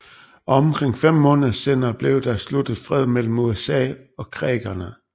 Omkring fem måneder senere blev der sluttet fred mellem USA og creekerne